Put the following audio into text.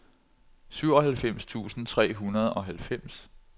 syvoghalvfems tusind tre hundrede og halvfems